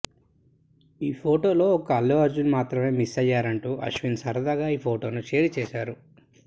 ఈ ఫోటోలో ఒక్క అల్లు అర్జున్ మాత్రమే మిస్ అయ్యారంటూ అశ్విన్ సరదాగా ఈ ఫోటోను షేర్ చేశారు